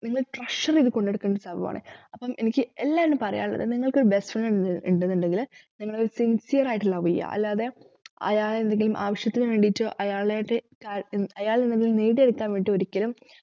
നിങ്ങള് treasure ചെയ്തു കൊണ്ട് നടക്കേണ്ട ഒരു സംഭവമാണ് അപ്പം എനിക്ക് എല്ലാരോടും പറയാനുള്ളത് നിങ്ങക്ക് best friend ണ്ട് ന്നുണ്ടെങ്കില് നിങ്ങള് sincere ആയിട്ട് love ചെയ്യ അല്ലാതെ അയാളെ എന്തെങ്കിലും ആവിശ്യത്തിന് വേണ്ടിട്ടു അയാളത് അയാളിന് എന്തെങ്കിലും നേടിയെടുക്കാൻ വേണ്ടിട്ട് ഒരിക്കലും